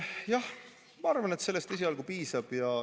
Jah, ma arvan, et sellest esialgu piisab.